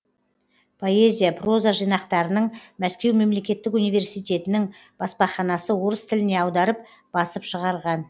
поэзия проза жинақтарының мәскеу мемлекеттік универститетінің баспаханасы орыс тіліне аударып басып шығарған